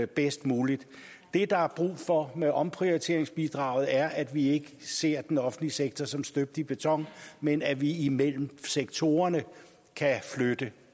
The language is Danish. bedst muligt det der er brug for med omprioriteringsbidraget er at vi ikke ser den offentlige sektor som støbt i beton men at vi imellem sektorerne kan flytte